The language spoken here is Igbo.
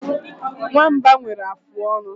Nwamba nwere afụ ọnụ.